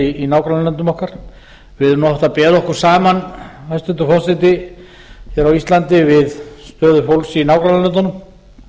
staðar í nágrannalöndum okkar við erum nú oft að bera okkur saman hæstvirtur forseti hér á íslandi við stöðu fólks í nágrannalöndunum en